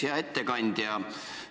Hea ettekandja!